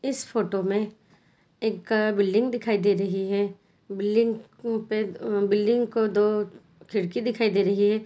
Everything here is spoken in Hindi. इस फोटो मे एक अ बिल्डिंग दिखाई दे रही है बिल्डिंग उपे अ बिल्डिंग को दो खिड़की दिखाई दे रही है।